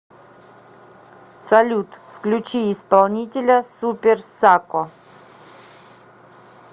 салют включи исполнителя супер сако